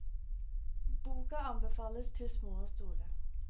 Boka anbefales til små og store.